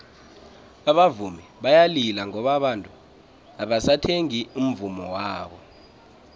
abavumi bayalila ngoba abantu abasathengi umvummo wabo